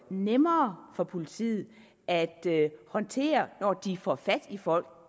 nemmere for politiet at håndtere når de får fat i folk